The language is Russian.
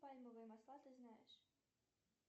пальмовые масла ты знаешь